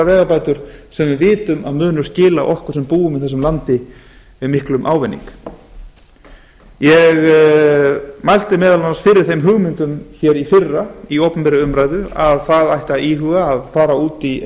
vegabætur sem við vitum að munu skila okkur sem búum í þessu landi miklum ávinning ég mælti meðal annars fyrir þeim hugmyndum í fyrra í opinberri umræðu að það ætti að íhuga að fara út í